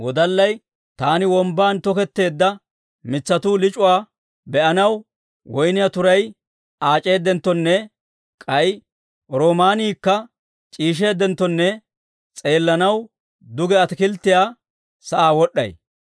Taani wombban toketteedda mitsatuu lic'uwaa be'anaw, woyniyaa turay aac'eedenttonne k'ay roomaaniikka c'iisheeddenttonne s'eellanaw, duge ataakilttiyaa sa'aa wod'd'ay.